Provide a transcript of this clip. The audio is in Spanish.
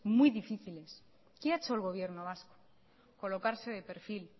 muy difíciles qué ha hecho el gobierno vasco colocarse de perfil